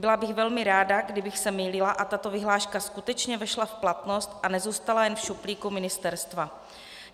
Byla bych velmi ráda, kdybych se mýlila a tato vyhláška skutečně vešla v platnost a nezůstala jen v šuplíku ministerstva.